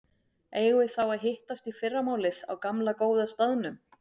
Eigum við þá að hittast í fyrramálið á gamla, góða staðnum?